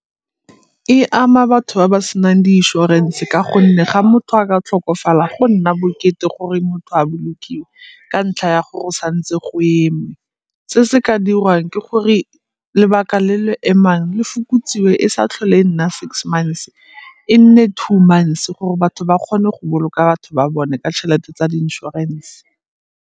E ama batho ba ba senang di inšorense ka gonne ga motho a ka tlhokofala go nna bokete gore motho a bolokiwe ka ntlha ya gore sa ntse go eme. Se se ka dirwang ke gore lebaka le le emang le fokotsiwe e sa tlhole nna six months e nne two months gore batho ba kgone go boloka batho ba bone ka tšhelete tsa di-insurance.